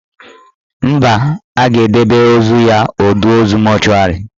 Mba, a ga-edebe ozu ya ọdọ ozu mọchụarị